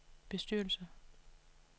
bestyrelse